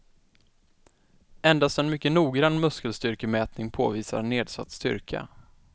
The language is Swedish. Endast en mycket noggrann muskelstyrkemätning påvisar nedsatt styrka.